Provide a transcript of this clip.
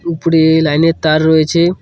উপরে লাইন -এর তার রয়েছে।